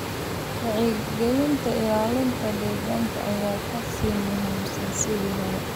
Wacyigelinta ilaalinta deegaanka ayaa ka sii muhiimsan sidii hore.